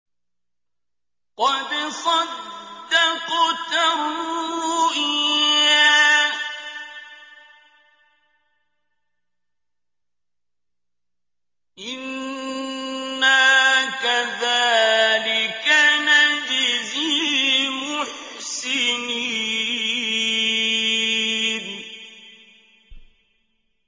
قَدْ صَدَّقْتَ الرُّؤْيَا ۚ إِنَّا كَذَٰلِكَ نَجْزِي الْمُحْسِنِينَ